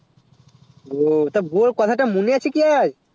উহ তো গো কথা টা মনে আছে কি আয়ে